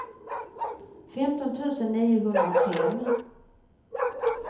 femton tusen niohundrafem